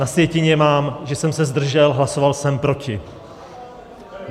Na sjetině mám, že jsem se zdržel, hlasoval jsem proti.